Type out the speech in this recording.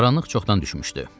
Qaranlıq çoxdan düşmüşdü.